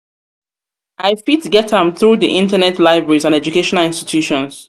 fit get am through di internet libraries and educational institutions.